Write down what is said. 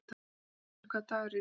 Sighvatur, hvaða dagur er í dag?